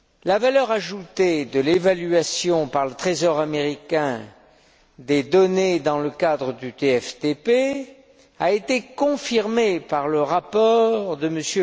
La valeur ajoutée de l'évaluation, par le Trésor américain, des données dans le cadre du TFTP a été confirmée par le rapport de M.